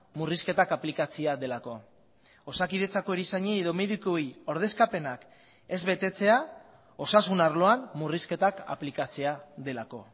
murrizketak aplikatzea delako osakidetzako erizainei edo medikuei ordezkapenak ez betetzea osasun arloan murrizketak aplikatzea delako